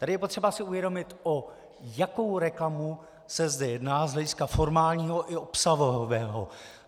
Tady je potřeba si uvědomit, o jakou reklamu se zde jedná z hlediska formálního i obsahového.